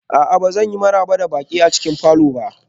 A'a, ba zan maraba da baƙi a cikin falor ba